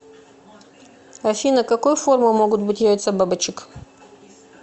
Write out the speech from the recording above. афина какой формы могут быть яйца бабочек